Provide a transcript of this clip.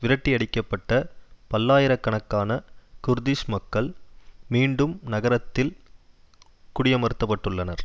விரட்டியடிக்கப்பட்ட பல்லாயிர கணக்கான குர்திஷ் மக்கள் மீண்டும் நகரத்தில் குடியமர்த்தப்பட்டுள்ளனர்